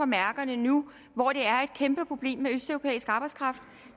mærkerne nu hvor det er et kæmpe problem med østeuropæisk arbejdskraft